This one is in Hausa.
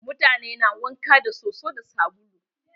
Mutane na wanka da soso da sabulu.